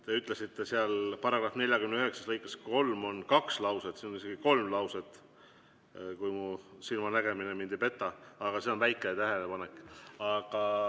Te ütlesite, et seal § 49 lõikes 3 on kaks lauset, aga seal on isegi kolm lauset, kui mu silmanägemine mind ei peta, aga see on väike tähelepanek.